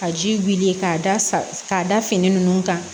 Ka ji wuli k'a da sa k'a da fini nunnu kan